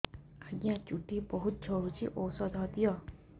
ଆଜ୍ଞା ଚୁଟି ବହୁତ୍ ଝଡୁଚି ଔଷଧ ଦିଅ